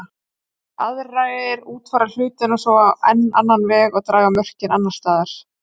Enn aðrir útfæra hlutina svo á enn annan veg og draga mörkin annars staðar.